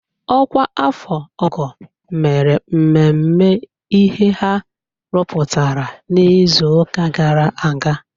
Ọkwa afọ ọ́gọ̀ mere mmemme ihe ha rụpụtara n'izuụka gara aga.